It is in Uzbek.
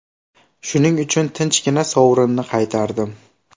Shuning uchun tinchgina sovrinni qaytardim.